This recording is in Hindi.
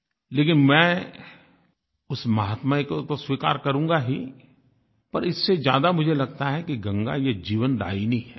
लेकिन मैं उस माहात्म्य को तो स्वीकार करूंगा ही पर इससे ज्यादा मुझे लगता है कि गंगा ये जीवनदायिनी है